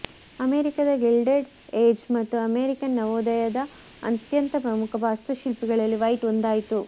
ಅಮೆರಿಕಾದ Gilded Age ಮತ್ತು American ನವೋದಯದ ಅತ್ಯಂತ ಪ್ರಮುಖ ವಾಸ್ತುಶಿಲ್ಪಿಗಳಲ್ಲಿ ವೈಟ್ ಒಂದಾಯಿತು